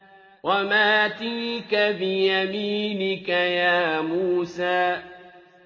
وَمَا تِلْكَ بِيَمِينِكَ يَا مُوسَىٰ